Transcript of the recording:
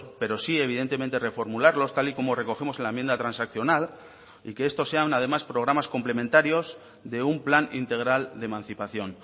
pero sí evidentemente reformularlos tal y como recogemos en la enmienda transaccional y que estos sean además programas complementarios de un plan integral de emancipación